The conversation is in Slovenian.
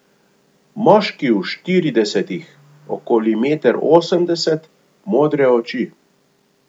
Moški v štiridesetih, okoli meter osemdeset, modre oči.